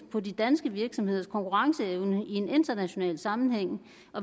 på de danske virksomheders konkurrenceevne i en international sammenhæng